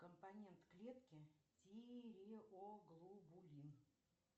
компонент клетки тиреоглобулин